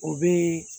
O bee